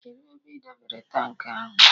Kedụ ebe ị debere tankị ahụ?